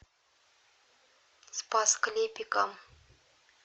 спас клепикам